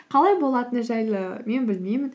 қалай болатыны жайлы мен білмеймін